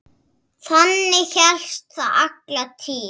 Þannig hélst það alla tíð.